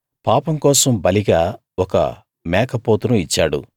పాపం కోసం బలిగా ఒక మేక పోతును ఇచ్చాడు